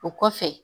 O kɔfɛ